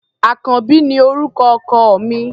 Àkànbí ni orúkọ ọkọ mi.